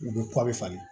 U bɛ kɔ bɛ falen